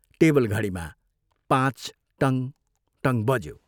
टेबलघडीमा पाँच टङ् टङ् बज्यो।